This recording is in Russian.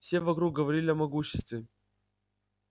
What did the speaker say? все вокруг говорили о могуществе